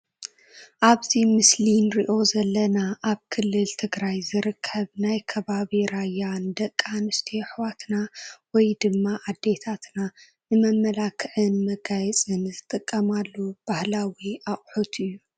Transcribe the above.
ኣብዚ ምስሊ ንሪኦ ዘለና ኣብ ክልል ትግራይ ዝርከብ ናይ ከባቢ ራያ ንደቂ ኣንስትዮ ኣሕዋትና ወይ ድማ ኣዴታትና ንመመላኽዕን መጋየፅን ዝጥቀማሉ ባህላዊ ኣቕሑት እዩ፡፡